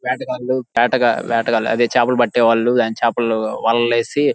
వేటగాళ్లు అదే చేపలు పటేవాళ్ళు చేపలు వలలు వేసి --